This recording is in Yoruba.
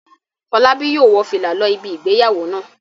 Fọlábí yóò wọ fìlà lọ ibi ìgbéyàwó náà.